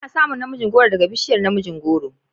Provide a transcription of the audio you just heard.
Ana samun na mijin goro daga bishiyar namijin goro